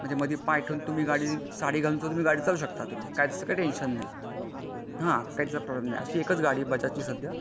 हा म्हणजे मध्ये पाय ठेवून तुम्ही साडी घालून तुम्ही गाडी चालवू शकता म्हणजे त्याचा काही टेन्शन नाही त्याचा काही प्रॉब्लेम नाही अशी बजाज ची एकच गाडी आहे सध्या.